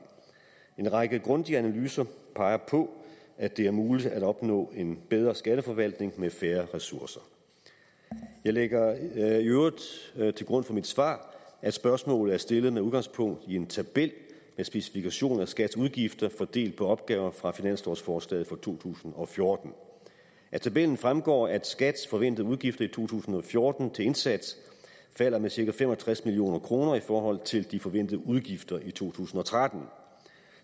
en række grundige analyser peger på at det er muligt at opnå en bedre skatteforvaltning med færre ressourcer jeg lægger i øvrigt til grund for mit svar at spørgsmålet er stillet med udgangspunkt i en tabel med specifikation af skats udgifter fordelt på opgaver fra finanslovsforslaget for to tusind og fjorten af tabellen fremgår at skats forventede udgifter i to tusind og fjorten til indsats falder med cirka fem og tres million kroner i forhold til de forventede udgifter i to tusind og tretten